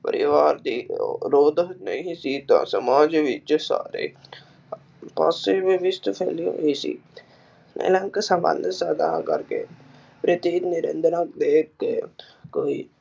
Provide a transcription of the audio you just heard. ਪਰਿਵਾਰ ਦੀ ਨਹੀਂ ਸੀ ਤਾਂ ਸਮਾਜ ਵਿਚ ਸਾਰੇ ਪਾਸੇ ਵਿਵਾਸਟ